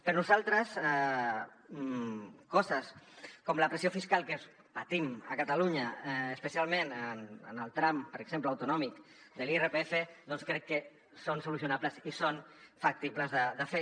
per nosaltres coses com la pressió fiscal que patim a catalunya especialment en el tram per exemple autonòmic de l’irpf doncs crec que són solucionables i són factibles de fer